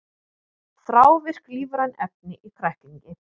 Þrávirk lífræn efni í kræklingi